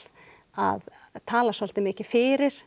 að tala svolítið mikið fyrir